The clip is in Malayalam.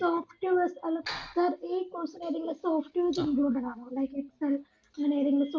softwares അല്ല sir ഈ course ഉം കാര്യങ്ങള് softwares included ആണോ like excel അങ്ങനെ ഏതെങ്കിലും